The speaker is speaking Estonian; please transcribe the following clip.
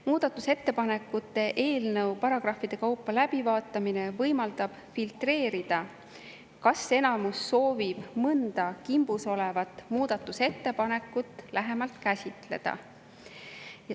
Muudatusettepanekute eelnõu paragrahvide kaupa läbivaatamine võimaldab filtreerida, kas enamus soovib mõnda kimbus olevat muudatusettepanekut lähemalt käsitleda.